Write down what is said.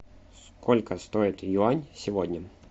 сколько стоит юань сегодня